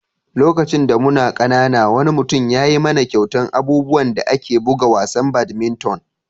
Lokacin da muna ƙanana, wani mutum ya yi mana kyautan abubuwan da ake bugan wasan badminton.